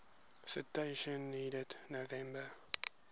citation needed november